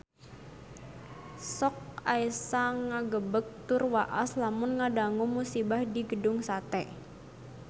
Sok asa ngagebeg tur waas lamun ngadangu musibah di Gedung Sate